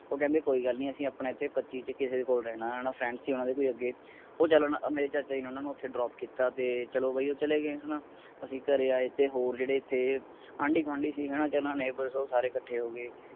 ਉਹ ਕਹਿੰਦੇ ਕੋਈ ਗੱਲ ਨੀ ਅਸੀ ਆਪਣਾ ਇਥੇ ਪਚੀ ਚ ਕਿਸੇ ਕੋਲ ਰਹਿਣਾ ਆਂ friend ਸੀ ਉਹਨਾਂ ਦਾ ਕੋਈ ਅੱਗੇ ਉਹ ਚਲ ਓਹਨਾ ਮੇਰੇ ਚਾਚਾ ਜੀ ਨੇ ਉਹਨਾਂ ਨੂੰ ਓਥੇ drop ਕਿੱਤਾ ਤੇ ਚਲੋ ਬਾਈ ਉਹ ਚਲੇ ਗਏ ਹੈਨਾ ਅਸੀਂ ਘਰੇ ਆਏ ਤੇ ਹੋਰ ਜਿਹੜੇ ਸੀ ਆਂਦੀ ਗਵਾਂਢੀ ਸੀ ਹੈਨਾ ਤੇ neighbours ਤੇ ਉਹ ਸਾਰੇ ਕੱਠੇ ਹੋ ਗਏ।